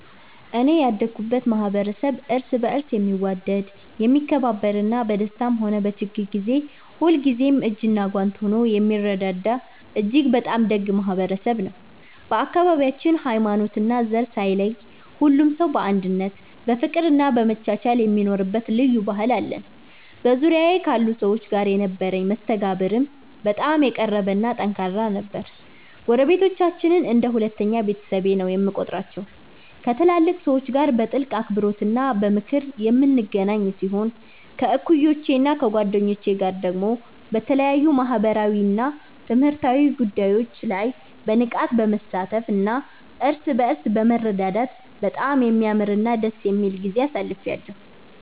እኔ ያደኩበት ማኅበረሰብ እርስ በርስ የሚዋደድ፣ የሚከባበርና በደስታም ሆነ በችግር ጊዜ ሁልጊዜም እጅና ጓንት ሆኖ የሚረዳዳ እጅግ በጣም ደግ ማኅበረሰብ ነው። በአካባቢያችን ሃይማኖትና ዘር ሳይለይ ሁሉም ሰው በአንድነት በፍቅርና በመቻቻል የሚኖርበት ልዩ ባህል አለን። በዙሪያዬ ካሉ ሰዎች ጋር የነበረኝ መስተጋብርም በጣም የቀረበና ጠንካራ ነበር። ጎረቤቶቻችንን እንደ ሁለተኛ ቤተሰቤ ነው የምቆጥራቸው፤ ከትላልቅ ሰዎች ጋር በጥልቅ አክብሮትና በምክር የምንገናኝ ሲሆን፣ ከእኩዮቼና ከጓደኞቼ ጋር ደግሞ በተለያዩ ማኅበራዊና ትምህርታዊ ጉዳዮች ላይ በንቃት በመሳተፍና እርስ በርስ በመረዳዳት በጣም የሚያምርና ደስ የሚል ጊዜ አሳልፌአለሁ።